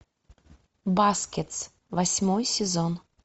баскетс восьмой сезон